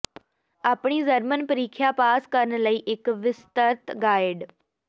ਆਪਣੀ ਜਰਮਨ ਪ੍ਰੀਖਿਆ ਪਾਸ ਕਰਨ ਲਈ ਇੱਕ ਵਿਸਤਰਤ ਗਾਈਡ